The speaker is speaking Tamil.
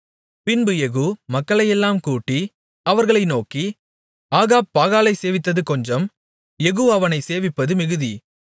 பின்பு யெகூ மக்களையெல்லாம் கூட்டி அவர்களை நோக்கி ஆகாப் பாகாலைச் சேவித்தது கொஞ்சம் யெகூ அவனைச் சேவிப்பது மிகுதி